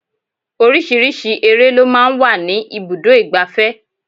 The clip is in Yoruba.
Oríṣiríṣi eré lọ máa ń wà ní ibùdó igbàfẹ́.